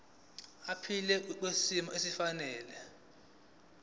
aphile kwisimo esifanele